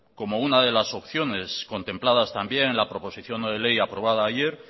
como una de las opciones contempladas también en la proposición no de ley aprobada ayer